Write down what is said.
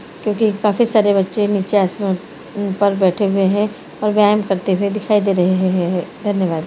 क्युकी काफी सारे बच्चे निच्चे आसमान पर बैठे हुए हैं ओर व्यायम करते हुए दिखाई दे रहे हैं है है है धन्यवाद।